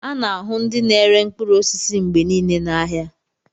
A na-ahụ ndị na-ere mkpụrụ osisi mgbe niile n'ahịa